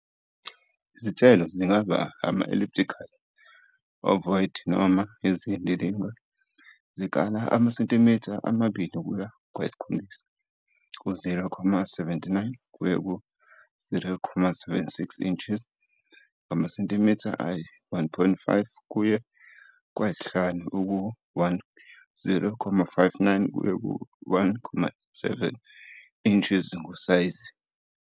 Izithelo zingaba ngama-elliptical, ovoid noma eziyindilinga, zikala amasentimitha ama-2 kuye kwayi-7, 0.79 kuye ku-2.76 in, ngamasentimitha ayi-1.5 kuye kwayi-5, 0.59 kuye ku-1.97 in, ngosayizi.